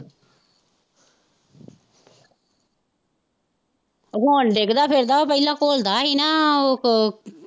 ਹੁਣ ਡਿੱਗਦਾ ਫਿਰਦਾ ਪਹਿਲਾਂ ਘੁੱਲਦਾ ਹੀ ਨਾ ਉਹੋ।